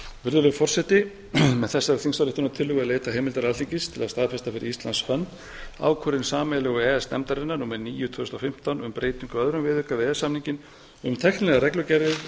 virðulegi forseti með þessari þingsályktunartillögu er leitað heimildar alþingis til að staðfesta fyrir íslands hönd ákvörðun sameiginlegu e e s nefndarinnar númer níu tvö þúsund og fimmtán um breytingu á öðrum viðauka við e e s samninginn um